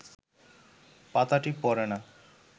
পাতাটি পড়ে না